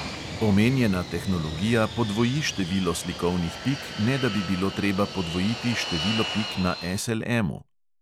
Omenjena tehnologija podvoji število slikovnih pik, ne da bi bilo treba podvojiti število pik na SLM-u.